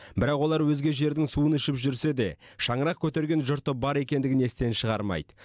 бірақ олар өзге жердің суын ішіп жүрсе де шаңырақ көтерген жұрты бар екендігін естен шығармайды